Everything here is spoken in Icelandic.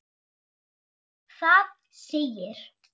Það segir